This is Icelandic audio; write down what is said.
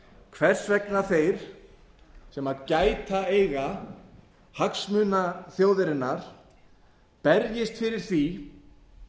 hvers vegna þeir sem gæta eiga hagsmuna þjóðarinnar berjist fyrir því